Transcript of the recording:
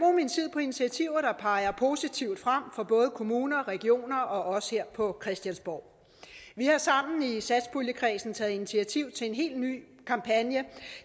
på initiativer der peger positivt frem for både kommuner regioner og os her på christiansborg vi har sammen i satspuljekredsen taget initiativ til en helt ny kampagne